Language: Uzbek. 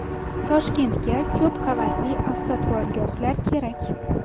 Toshkentga ko‘p qavatli avtoturargohlar kerak.